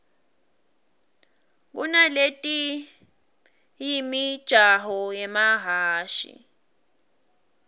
kunatieyimijaho yemahhashi